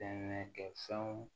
Kɛ fɛnw